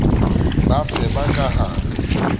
bafe ba ka ha re